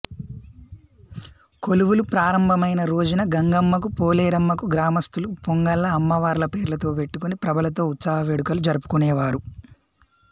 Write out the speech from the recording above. కొలువులు ప్రారంభమైన రోజున గంగమ్మకు పోలేరమ్మకు గ్రామస్థులు పొంగళ్ళ అమ్మవార్ల పేర్లతో పెట్టుకొని ప్రభలతో ఉత్సవ వేడుకలు జరుపుకునేవారు